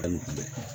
Hali kuma bɛ